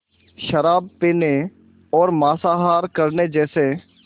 शराब पीने और मांसाहार करने जैसे